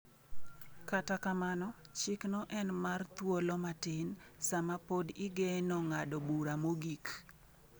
Kata kamano, chikno en mar thuolo matin sama pod igeno ng’ado bura mogik.